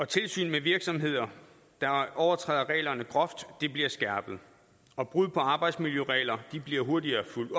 tilsyn med virksomheder der overtræder reglerne groft bliver skærpet og brud på arbejdsmiljøregler bliver hurtigere fulgt